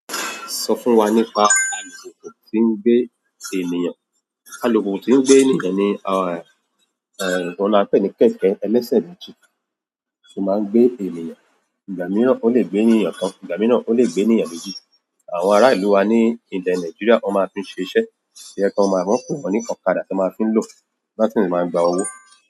Sọ fún wa nípa alùpùpù tí ń gbé ènìyàn. Alùpùpù tí ń gbé ènìkàn ni, ohun a pè ní kẹ̀kẹ́ ẹlẹ́sẹ̀ méjì tí ó máa ń gbé ènìyàn. Ìgbà mìíràn ó lè gbé ènìyàn kan, ìgbà mìíràn ó lè gbé ènìyàn méjì. Àwọn ará ìlú wa ní ilẹ̀ Nàìjíríà won máa fi n ṣe iṣẹ́, to je pe wọ́n máa n pe won ní ọ̀kadà tí wọ́n máa fí ń lọ, láti le máa gba owó.